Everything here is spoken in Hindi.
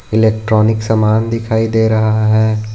इलेक्ट्रॉनिक समान दिखाई दे रहा है।